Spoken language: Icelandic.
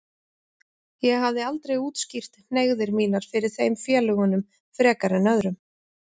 Ég hafði aldrei útskýrt hneigðir mínar fyrir þeim félögunum frekar en öðrum.